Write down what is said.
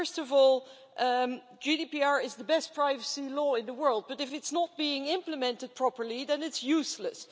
First of all, GDPR is the best privacy law in the world, but if it's not being implemented properly then it's useless.